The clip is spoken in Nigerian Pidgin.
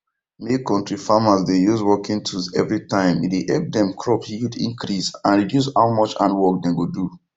make kontri farmers dey use working tools everytime e dey help dem crop yield increase and reduce how much hand work dem go do